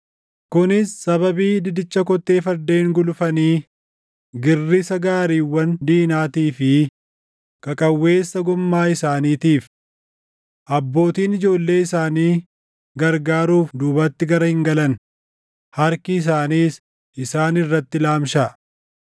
kunis sababii didicha kottee fardeen gulufanii, girrisa gaariiwwan diinaatii fi qaqawweessa goommaa isaaniitiif. Abbootiin ijoollee isaanii gargaaruuf duubatti gara hin galan; harki isaaniis isaan irratti laamshaʼa.